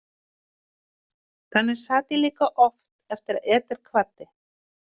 Þannig sat ég líka oft eftir að Eder kvaddi.